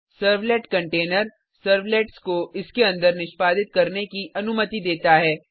servlet container servlets को इसके अंदर निष्पादित करने की अनुमति देता है